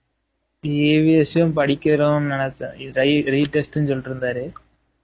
EVS படிக்கணும்னு நினச்சுட்டு இருந்தேன் re retest னு சொல்லிட்டு இருந்தாரு